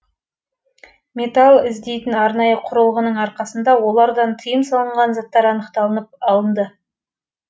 металл іздейтін арнайы құрылғының арқасында олардан тыйым салынған заттар анықталынып алынды